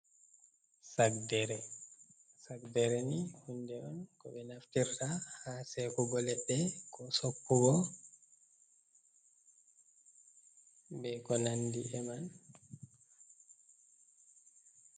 Saddereni hunde on ko be naftirta ha sekugo ledde, ko sobbugo be ko nandi e man.